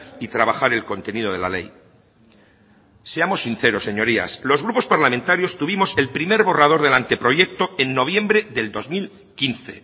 y trabajar el contenido de la ley seamos sinceros señorías los grupos parlamentarios tuvimos el primer borrador del anteproyecto en noviembre del dos mil quince